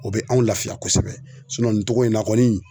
O bɛ anw lafiya kosɛbɛ nin togo in na kɔni